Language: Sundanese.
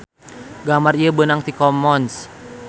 Gambar ieu beunang ti commons.